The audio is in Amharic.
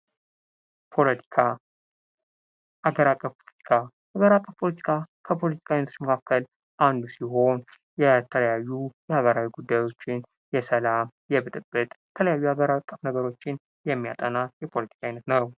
ፖለቲካ ፦ሀገር አቀፍ ፖለቲካ ሀገር አቀፍ ከፖለቲካ አይነቶች መካከል አንዱ ሲሆን የተለያዩ ማህበራዊ ጉዳዮችን የሰላም ፣የብጥብጥ የተለያዩ ሀገር አቀፍ ነገሮችን የሚያጠና የፖለቲካ አይነት ነው።